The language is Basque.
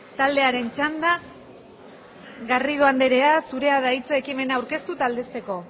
taldearen txanda garrido anderea zurea da hitza ekimena aurkeztu eta aldezteko